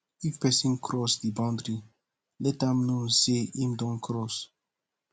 if person cross di boundry let am know sey im don cross